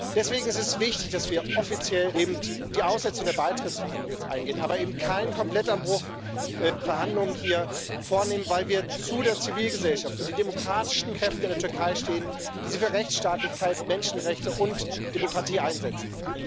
Deswegen ist es wichtig, dass wir jetzt die Aussetzung der Beitrittsverhandlung offiziell angehen, aber eben keinen Komplettabbruch der Verhandlungen hier vornehmen, weil wir zu der Zivilgesellschaft und den demokratischen Kräften in der Türkei stehen, die sich für Rechtsstaatlichkeit, Menschenrechte und Demokratie einsetzen.